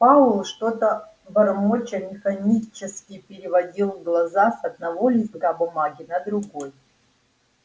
пауэлл что-то бормоча механически переводил глаза с одного листка бумаги на другой